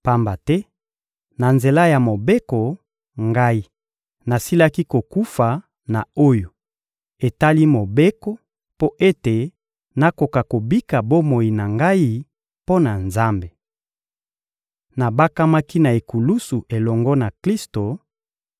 Pamba te, na nzela ya Mobeko, ngai nasilaki kokufa na oyo etali Mobeko mpo ete nakoka kobika bomoi na ngai mpo na Nzambe. Nabakamaki na ekulusu elongo na Klisto;